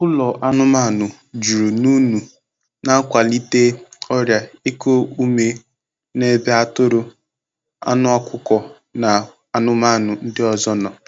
Ụlọ anụmanụ juru n'únu na-akwalite ọrịa iku ume n’ebe atụrụ, anụ ọkụkọ na anụmanụ ndị ọzọ nọ.